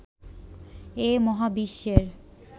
এ মহাবিশ্বের